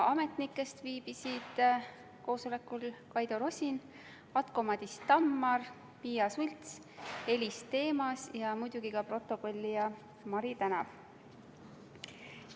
Ametnikest viibisid koosolekul Kaido Rosin, Atko-Madis Tammar, Piia Schults, Elis Themas ja muidugi ka protokollija Mari Tänav.